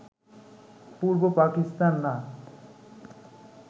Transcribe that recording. পূর্ব পাকিস্তান না